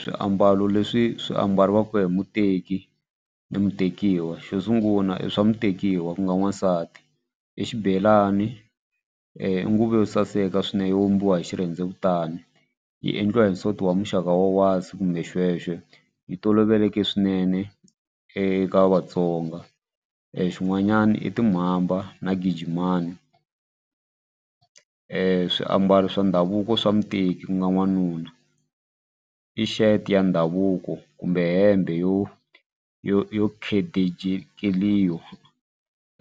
Swiambalo leswi swi ambariwaka hi muteki ni mutekiwa xo sungula i swa mutekiwa ku nga n'wansati i xibelani i nguvu yo saseka swinene yo vumbiwa hi xirhendewutani yi endliwa hi wa muxaka wa wasi kumbe yi toloveleke swinene eka Vatsonga xin'wanyani i timhamba na gigimani. Swiambalo swa ndhavuko swa muteki ku nga n'wanuna i shirt ya ndhavuko kumbe hembe yo yo yo